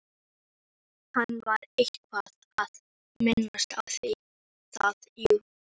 Hann var eitthvað að minnast á það, jú.